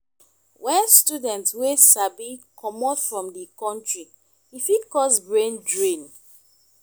when student wey sabi comot from di country e fit cause brain drain